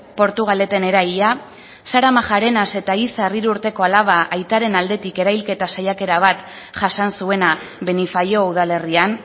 portugaleten eraila sara majarenas eta izar hiru urteko alaba aitaren aldetik erailketa saiakera bat jasan zuena benifaió udalerrian